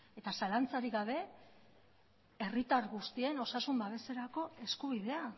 eta zalantzarik gabe herritar guztien osasun babeserako eskubidea